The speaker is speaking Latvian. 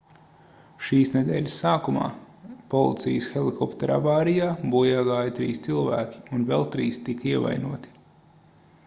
šīs nedēļas sākumā policijas helikoptera avārijā bojā gāja trīs cilvēki un vēl trīs tika ievainoti